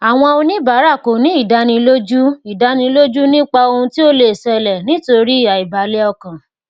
àwọn oníbàárà kò ní ìdánilójú ìdánilójú nípa ohun tí ó lè ṣẹlẹ nítorí aibalẹ ọkàn